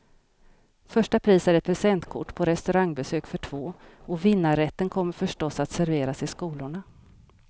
Första pris är ett presentkort på restaurangbesök för två, och vinnarrätten kommer förstås att serveras i skolorna.